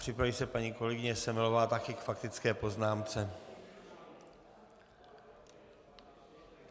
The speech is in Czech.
Připraví se paní kolegyně Semelová, také k faktické poznámce.